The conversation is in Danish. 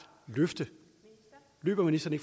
løfte løber ministeren